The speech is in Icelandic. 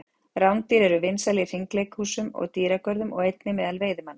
Rándýr eru vinsæl í hringleikahúsum og dýragörðum og einnig meðal veiðimanna.